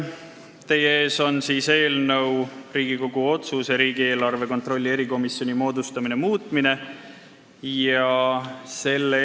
Teie ees on Riigikogu otsuse "Riigikogu otsuse "Riigieelarve kontrolli erikomisjoni moodustamine" muutmine" eelnõu.